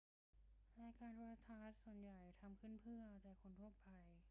รายการโทรทัศน์ส่วนใหญ่ทำขึ้นเพื่อเอาใจคนทั่วไป